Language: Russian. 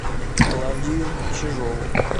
клавдию чижову